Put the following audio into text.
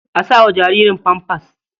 A sa wa jaririn famfas.